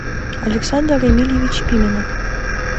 александр эмильевич пименов